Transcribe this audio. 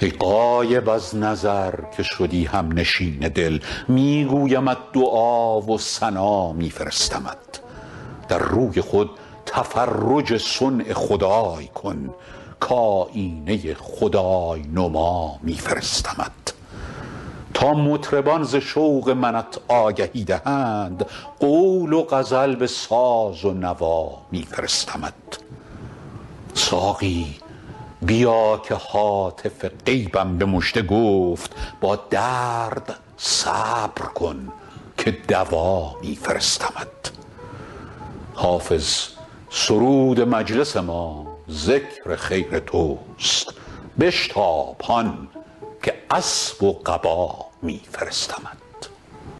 ای غایب از نظر که شدی هم نشین دل می گویمت دعا و ثنا می فرستمت در روی خود تفرج صنع خدای کن کآیینه خدای نما می فرستمت تا مطربان ز شوق منت آگهی دهند قول و غزل به ساز و نوا می فرستمت ساقی بیا که هاتف غیبم به مژده گفت با درد صبر کن که دوا می فرستمت حافظ سرود مجلس ما ذکر خیر توست بشتاب هان که اسب و قبا می فرستمت